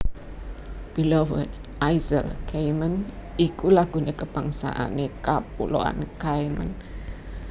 Beloved Isles Cayman iku lagu kabangsané Kapuloan Cayman